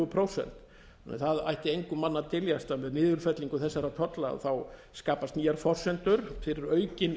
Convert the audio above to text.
prósent þannig að það ætti engum manni að dyljast að með niðurfellingu þessara tolla skapast nýjar forsendur fyrir aukin